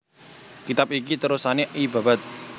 Kitab iki terusané I Babad